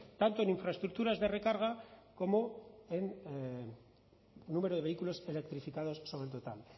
tanto en infraestructuras de recarga como en número de vehículos electrificados sobre el total